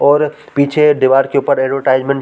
और पीछे दीवार के ऊपर एडवर्टाइजमेंट --